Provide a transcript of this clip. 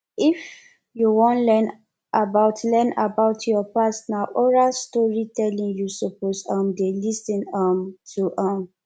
if you wan learn about learn about your past na oral storytelling you suppose um dey lis ten um to um